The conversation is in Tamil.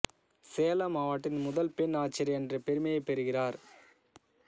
சேலம் மாவட்டத்தின் முதல் பெண் ஆட்சியர் என்ற பெருமையைப் பெறுகிறார்